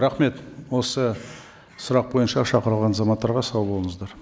рахмет осы сұрақ бойынша шақырылған азаматтарға сау болыңыздар